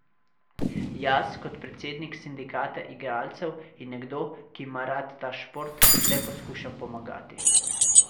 Jaz kot predsednik sindikata igralcev in nekdo, ki ima rad ta šport, le poskušam pomagati.